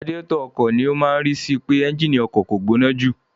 Radiátọ̀ ọkọ̀ ni ó máa tí sì pé ẹ́ńgínì ọkọ̀ kò gbóná jù.